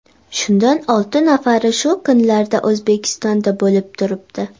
Shundan olti nafari shu kunlarda O‘zbekistonda bo‘lib turibdi.